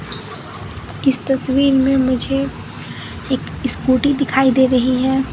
इस तस्वीर में मुझे एक स्कूटी दिखाई दे रही है।